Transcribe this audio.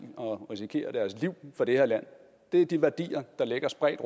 og risikerer deres liv for det her land det er de værdier der ligger spredt